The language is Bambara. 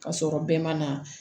Ka sɔrɔ bɛɛ ma na